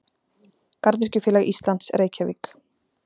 Garðyrkjufélag Íslands Reykjavík.